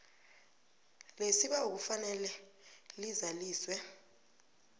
lesibawo kufanele lizaliswe